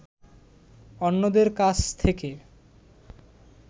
অন্যদের কাছ থেকে